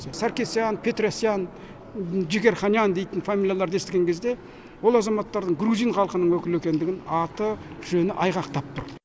саркисьян петросьян джигарханьян дейтін фамилияларды естіген кезде ол азаматтардың грузин халқының өкілі екендігін аты жөні айғақтап тұр